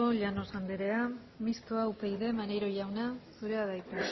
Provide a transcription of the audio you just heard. llanos anderea mistoa upyd maneiro jauna zurea da hitza